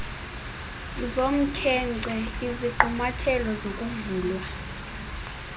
zomkhenkce izigqumathelo zokuvulwa